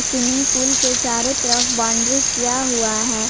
Swimming pool के चारों तरफ बाउंड्री किया हुआ है।